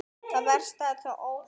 Það versta er þó ótalið.